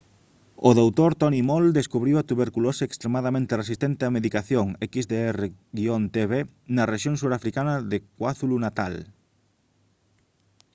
o dr. tony moll descubriu a tuberculose extremadamente resistente á medicación xdr-tb na rexión surafricana de kwazulu-natal